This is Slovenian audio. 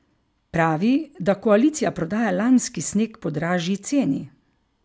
Pravi, da koalicija prodaja lanski sneg po dražji ceni.